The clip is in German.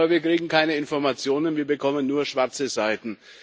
Aber wir kriegen keine Informationen, wir bekommen nur schwarze Seiten.